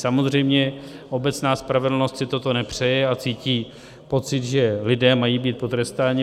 Samozřejmě obecná spravedlnost si toto nepřeje a má pocit, že lidé mají být potrestáni.